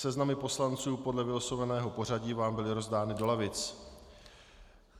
Seznamy poslanců podle vylosovaného pořadí vám byly rozdány do lavic.